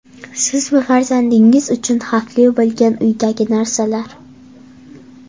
Siz va farzandingiz uchun xavfli bo‘lgan uydagi narsalar.